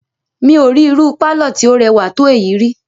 Mí ò rí irú pálọ̀ tí o rẹwà tó èyí ríi.